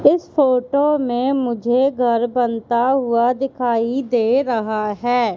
इस फोटो में मुझे घर बनता हुआ दिखाई दे रहा है।